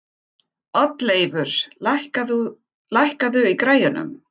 Oddleifur, lækkaðu í græjunum.